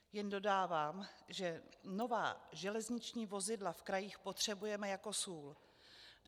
Jen dodávám, že nová železniční vozidla v krajích potřebujeme jako sůl.